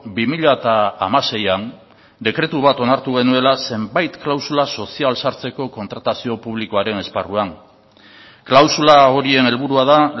bi mila hamaseian dekretu bat onartu genuela zenbait klausula sozial sartzeko kontratazio publikoaren esparruan klausula horien helburua da